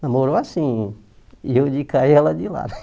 Namorou assim, eu de cá e ela de lá.